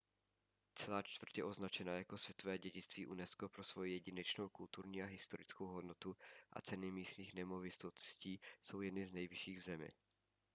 celá čtvrť je označena jako světové dědictví unesco pro svoji jedinečnou kulturní a historickou hodnotu a ceny místních nemovitostí jsou jedny z nejvyšších v zemi